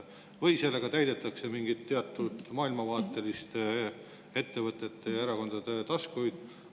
Või sellega täidetakse mingite teatud maailmavaateliste ettevõtete ja erakondade taskuid?